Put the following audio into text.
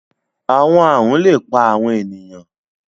Awọn arun le pa awọn eniyan